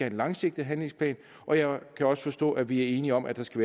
en langsigtet handlingsplan og jeg kan også forstå at vi er enige om at der skal